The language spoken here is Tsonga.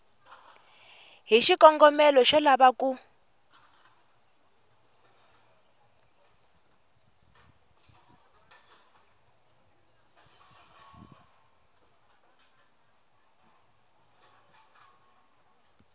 hi xikongomelo xo lava ku